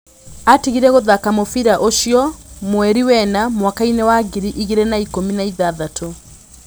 Atigire gũthaka mũbira ũcio mweri wena mwakainĩ wa ngiri igĩ rĩ na ikũmi na ithathatũ.